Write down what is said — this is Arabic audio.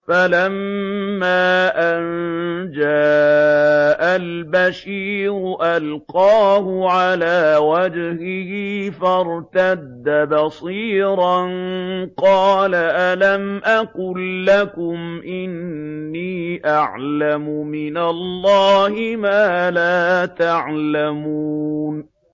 فَلَمَّا أَن جَاءَ الْبَشِيرُ أَلْقَاهُ عَلَىٰ وَجْهِهِ فَارْتَدَّ بَصِيرًا ۖ قَالَ أَلَمْ أَقُل لَّكُمْ إِنِّي أَعْلَمُ مِنَ اللَّهِ مَا لَا تَعْلَمُونَ